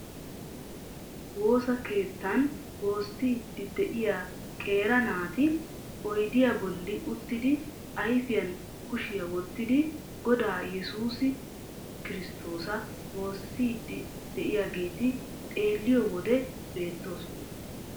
Woosa keettan woossiiddi de'iya qeera naati oyddiya bolli uttidi ayfiyan kushiya wottidi Godaa yesuus kirsttoosa woossiddi de'iyageeti xeelliyo wode beettoosona.